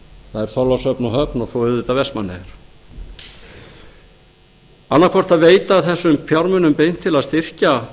það er þorlákshöfn og höfn og svo auðvitað vestmannaeyjar annaðhvort veita þessum fjármunum beint til að styrkja